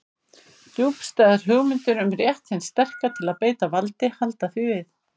Djúpstæðar hugmyndir um rétt hins sterka til að beita valdi halda því við.